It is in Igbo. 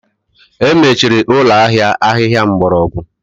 Emechiri ụlọ ahịa ahịhịa mgbọrọgwụ